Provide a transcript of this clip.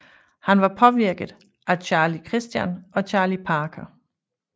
Han var påvirket af Charlie Christian og Charlie Parker